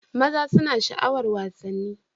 maza suna sha'awar wasanni